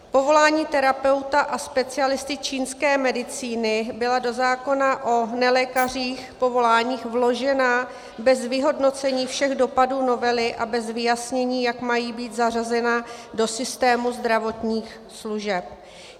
Povolání terapeuta a specialisty čínské medicíny byla do zákona o nelékařských povoláních vložena bez vyhodnocení všech dopadů novely a bez vyjasnění, jak mají být zařazena do systému zdravotních služeb.